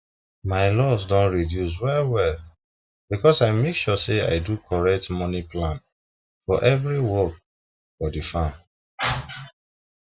my loss don reduce well well because i make sure say i do correct moni plan for every work for the farm